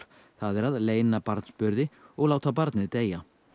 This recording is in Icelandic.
það er að leyna barnsburði og láta barnið deyja